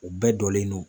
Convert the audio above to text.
U bɛɛ jɔlen do